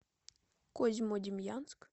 козьмодемьянск